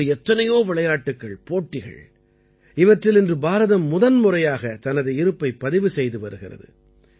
இப்படி எத்தனையோ விளையாட்டுக்கள்போட்டிகள் இவற்றில் இன்று பாரதம் முதன்முறையாகத் தனது இருப்பைப் பதிவு செய்து வருகிறது